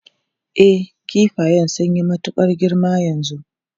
E, kifayan sun yi matukar girma yanzu.